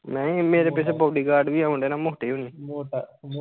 ਨਹੀਂ ਮੇਰੇ ਪਿੱਛੇ bodyguard ਵੀ ਆਉਂਦੇ ਨਾ ਮੋਟੇ ਹੋਣੀ